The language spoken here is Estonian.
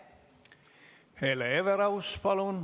Hele Everaus, palun!